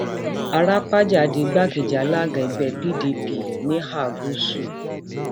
arapájá di igbákejì àlaga ẹgbẹ pdp níhà gúúsù